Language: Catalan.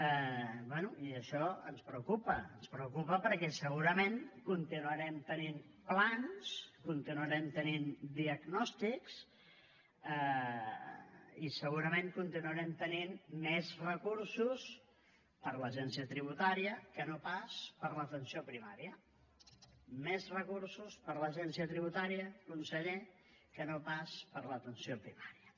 bé i això ens preocupa ens preocupa perquè segurament continuarem tenint plans continuarem tenint diagnòstics i segurament continuarem tenint més recursos per a l’agència tributària que no pas per a l’atenció primària més recursos per a l’agència tributària conseller que no pas per a l’atenció primària